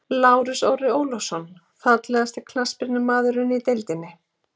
Lárus Orri Ólafsson Fallegasti knattspyrnumaðurinn í deildinni?